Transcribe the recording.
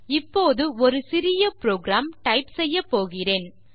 இப்போது ஒரு சிறிய புரோகிராம் டைப் செய்யப்போகிறேன்